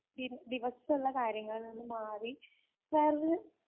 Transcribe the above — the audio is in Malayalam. ദി ദിവസ ഉള്ള കാര്യങ്ങളിൽ നിന്ന് മാറി വേറൊരു